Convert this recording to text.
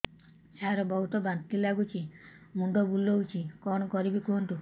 ସାର ବହୁତ ବାନ୍ତି ଲାଗୁଛି ମୁଣ୍ଡ ବୁଲୋଉଛି କଣ କରିବି କୁହନ୍ତୁ